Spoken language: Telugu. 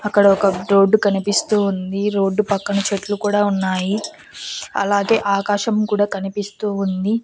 అక్కడ ఒక రోడ్డు కనిపిస్తూ ఉంది రోడ్డు పక్కన చెట్లు కూడా ఉన్నాయి అలాగే ఆకాశం కూడా కనిపిస్తూ ఉంది.